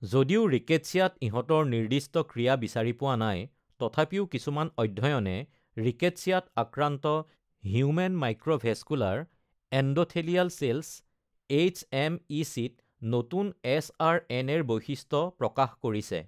যদিও ৰিকেটচিয়াত ইহঁতৰ নিৰ্দিষ্ট ক্ৰিয়া বিচাৰি পোৱা নাই, তথাপিও কিছুমান অধ্য়য়নে ৰিকেটচিয়াত আক্ৰান্ত হিউমেন মাইক্ৰ’ভেছকুলাৰ এণ্ড’থেলিয়াল চেলছ (এইচ.এম.ই.চি.)ত নতুন এচ.আৰ.এন.এ.-ৰ বৈশিষ্ট্য প্ৰকাশ কৰিছে।